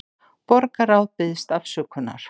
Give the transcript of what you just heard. Borgarráð biðst afsökunar